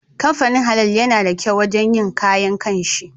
Kamfanin Halal yana da kyau wajen yin kayan kanshi